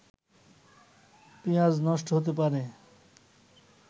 পিঁয়াজ নষ্ট হতে পারে